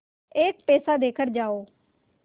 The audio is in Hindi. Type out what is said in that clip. एक पैसा देकर जाओ